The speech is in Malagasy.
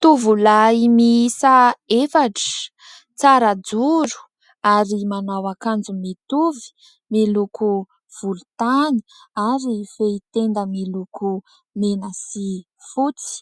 Tovolahy miisa efatra, tsara joro ary manao akanjo mitovy miloko volontany ary fehitenda miloko mena sy fotsy